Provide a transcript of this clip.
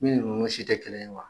Min ni ninnu si tɛ kelen ye wa